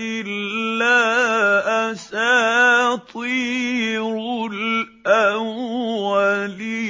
إِلَّا أَسَاطِيرُ الْأَوَّلِينَ